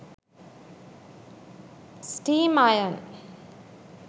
steam iron